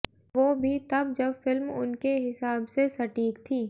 वो भी तब जब फिल्म उनके हिसाब से सटीक थी